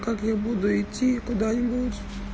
как я буду идти куда нибудь